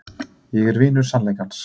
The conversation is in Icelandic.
Ég er vinur sannleikans.